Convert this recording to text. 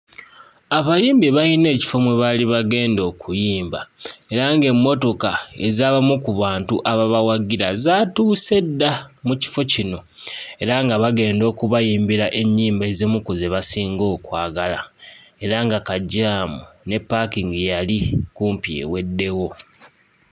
Abayimbi baayina ekifo mwe baali bagenda okuyimba era ng'emmotoka ez'abamu ku bantu ababawagira zaatuuse dda mu kifo kino era nga bagenda okubayimbira ennyimba ezimu ku ze basinga okwagala era nga kajjaamu ne ppaakingi yali kumpi eweddewo.